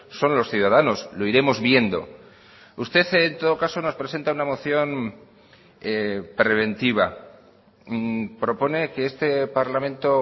son los ciudadanos lo iremos viendo usted en todo caso nos presenta una moción preventiva propone que este parlamento